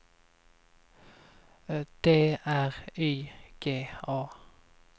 D R Y G A